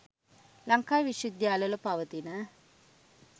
ලංකාවේ විශ්ව විද්‍යාල වල පවතින